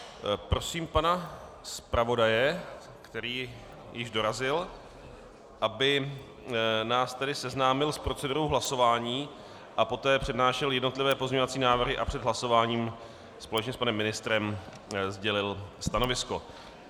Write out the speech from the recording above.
Prosím pana zpravodaje, který již dorazil, aby nás tedy seznámil s procedurou hlasování a poté přednášel jednotlivé pozměňovací návrhy a před hlasováním společně s panem ministrem sdělil stanovisko.